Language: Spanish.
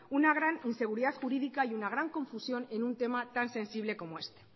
una gran inseguridad jurídica y una gran confusión en un tema tan sensible como este